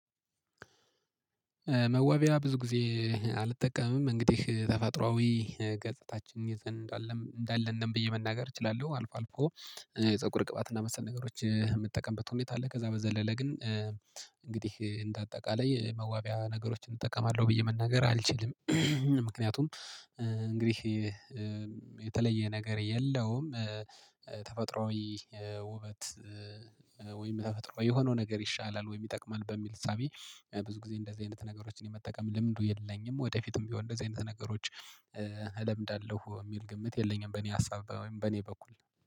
መዋቢያ ብዙ ጊዜ አልጠቀምም እንግዲህ ተፈጥሮአዊ ገጻታችን ይዘን እንዳለን እንዳለን ብዬ መናገር እችላለሁ አልፎ አልፎ። የፀጉር ቅባትና መሰል ነገሮች የምትጠቀምበት ሁኔታ አለ ከዛ በዘለለ ግን። እንግዲህ እንደ አጠቃላይ መዋቢያ ነገሮችን እጠቀማለሁ ብዬ መናገር አልችልም። ምክንያቱም እንግዲህ የተለየ ነገር የለውም። ተፈጥሮአዊ ውበት ወይም ተፈጥሮአዊ የሆነው ነገር ይሻላል ይጠቅመናል በሚል እሳቢ። ብዙ ጊዜ እንደዚህ አይነት ነገሮችን የመጠቀም ለምንዱ የለኝም። ወደፊትም ቢሆን እንደዚህ አይነት ነገሮች እለምዳለሁ እሚል ግምት የለኝም። በእኔ ሀሳብ ወይም በእኔ በኩል